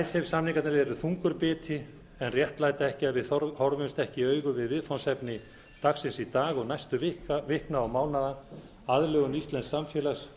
icesave samningarnir eru stór biti en réttlæta ekki að við horfumst ekki í augu við viðfangsefni dagsins í dag og næstu vikna og mánaða aðlögun íslensks samfélags